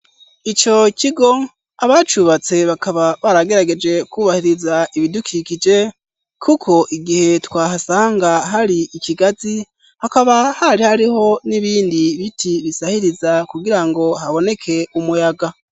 Ico kigo abacubatse bakaba baragerageje kubahiriza ibidukikije kuko igihe twahasanga hari ikigazi hakaba hari hariho n'ibindi biti bisahiriza kugirango haboneke umuyaga.